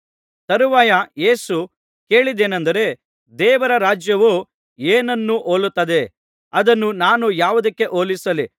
ತರುವಾಯ ಯೇಸು ಕೇಳಿದ್ದೇನಂದರೆ ದೇವರ ರಾಜ್ಯವು ಏನನ್ನು ಹೋಲುತ್ತದೆ ಅದನ್ನು ನಾನು ಯಾವುದಕ್ಕೆ ಹೋಲಿಸಲಿ